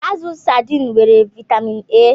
Azụ sadiin nwere vaịtamịn A.